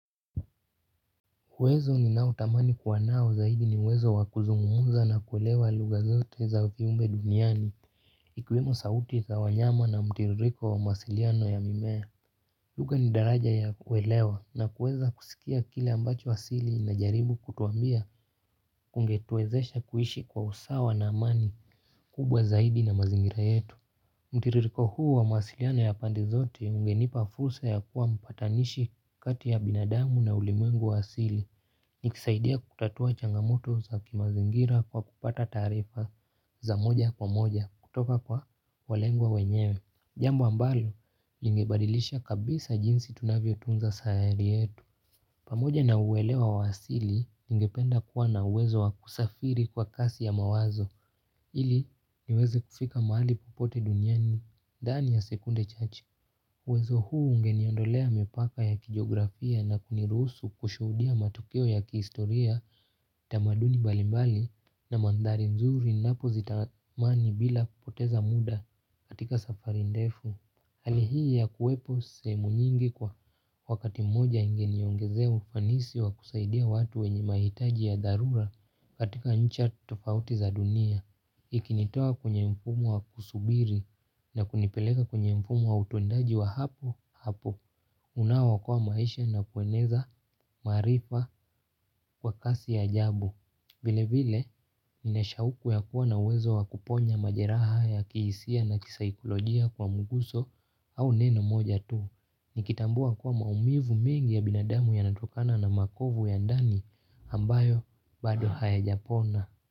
Uwezo ni nao tamani kuwa nao zaidi ni uwezo wakuzungumza na kuelewa lugha zote za viumbe duniani. Ikiwemo sauti za wanyama na mtiririko wa mawasiliano ya mimea. Lugha ni daraja ya kuelewa na kueza kusikia kile ambacho asili linajaribu kutuambia. Kungetuwezesha kuishi kwa usawa na amani, kubwa zaidi na mazingira yetu. Mtiririko huu, wa mawasiliano ya pande zote ungenipa fursa ya kua mpatanishi kati ya binadamu na ulimwengu wa asili. Nikisaidia kutatua changamoto za kimazingira kwa kupata taarifa, za moja kwa moja, kutoka kwa walengwa wenyewe. Jambo ambalo lingebadilisha kabisa jinsi tunavyo tunza sahari yetu. Pamoja na uelewa wa asili, ningependa kuwa na uwezo wa kusafiri kwa kasi ya mawazo, ili niweze kufika mahali popote duniani. Dhani ya sekunde chache. Uwezo huu ungeni ondolea mipaka ya kijografia na kuniruhusu kushuhudia matokeo ya kiistoria. Tamaduni mbalimbali na mandhari mzuri ninapo zitamani bila kupoteza muda katika safari ndefu. Hali hii ya kuwepo sehemu nyingi kwa wakati mmoja ingeniongezea ufanisi wa kusaidia watu wenye mahitaji ya dharura katika njia tofauti za dunia. Ikinitoa kwenye mfumu wa kusubiri na kunipeleka kwenye mfumu wa utendaji wa hapo hapo. Unaookoa maisha na kueneza maarifa kwa kasi ya ajabu. Vile vile, nine sha uku ya kuwa na wezo wa kuponya majeraha ya kihisia na kisaikolojia kwa mguso au neno moja tu. Nikitambua kuwa maumivu mengi ya binadamu yanatokana na makovu ya ndani ambayo bado haya japona.